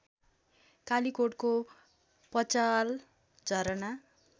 कालीकोटको Pachal Jharna